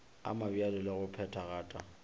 a mabjalo le go phethagata